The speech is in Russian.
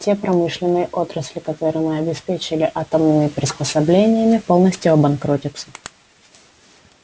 те промышленные отрасли которые мы обеспечили атомными приспособлениями полностью обанкротятся